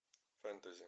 фэнтези